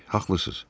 Haqlısınız.